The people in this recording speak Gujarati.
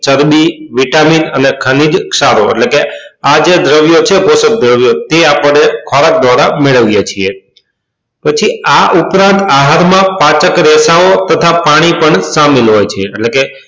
ચરબી vitamin અને ખનીજ ક્ષારો એટલે કે આ જે દ્રવ્યો છે કોશક દ્રવ્યો તે આપણને ખોરાક દ્વારા મેળવીએ છીએ પછી આ ઉપરાંત આહાર માં પાચક તથા પાણી પણ શામિલ હોય છે એટલે કે